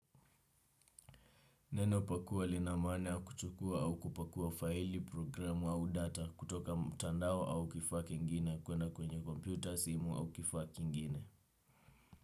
Neno pakua linamaana kuchukua au kupakua faili, programu au data kutoka mtandao au kifaa kingine kuenda kwenye kompyuta simu au kifaa kingine.